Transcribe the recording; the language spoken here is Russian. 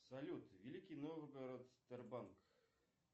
салют великий новгород сбербанк